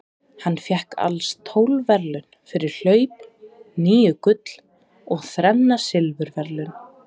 Hann fékk alls tólf verðlaun fyrir hlaup, níu gull og þrenn silfurverðlaun.